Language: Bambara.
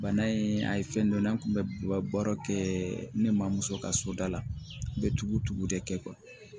Bana in a ye fɛn dɔ la an kun bɛ ka baara kɛ ne ma muso ka so da la n bɛ tugu tugu de kɛ